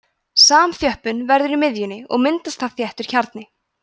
samþjöppun verður í miðjunni og myndast þar þéttur kjarni